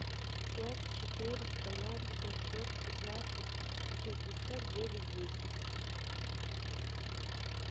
пять четыреста ноль семьсот пятнадцать шестьдесят девять десять